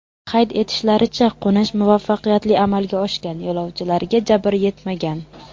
Qayd etishlaricha, qo‘nish muvaffaqiyatli amalga oshgan, yo‘lovchilarga jabr yetmagan.